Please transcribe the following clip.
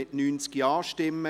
Der Grosse Rat beschliesst: